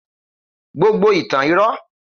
Gbogbo ìtàn irọ́